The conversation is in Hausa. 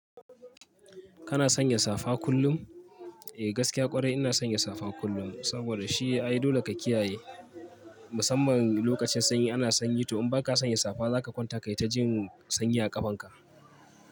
Kana sanya safa kullum? Eh gaskiya kwarai ina sanya safa kullum. Saboda shi ai dole ka kiyaye, musamman lokacin sanyi ana sanyi to in ba ka sanya safa za ka kwanta kai ta jin sanyi a ƙafanka.